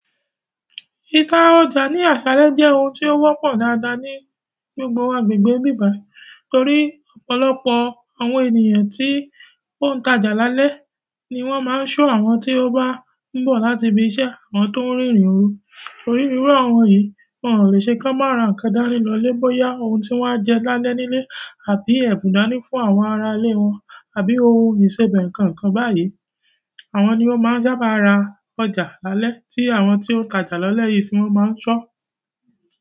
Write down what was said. Ìta ọjà ní àsálẹ́ jẹ́ ohun tí ó wọ́pọ̀ dáadáa ni gbogbo agbègbè ibí báyìí, torí ọ̀pọ̀lọpọ̀ àwọn ènìyàn tí wọ́n ń tajà lálẹ́ ni wọ́n máa ń ṣọ́ àwọn tí ó bá ń bọ̀ láti ibi iṣẹ́, àwọn tó ń rìnrìn òru. Torí irú àwọn yen, wọ́n ò lè ṣe ki wọn maa ra nǹkan dáni lọlẹ bóyá ohun tí wọ́n á jẹ́ lálẹ́ nílé àbí ẹ̀bù dani fún àwọn ará ilé wọn àbí ohun ìsebẹ̀ nǹkan kan báyìí. Àwọn ni o maa sa ba ra ọjà lálẹ́, ti àwọn ti o taja ni alé yìí ti o maa n sọ.